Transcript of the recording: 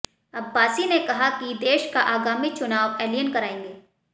अब्बासी ने कहा कि देश का आगामी चुनाव एलियन कराएंगे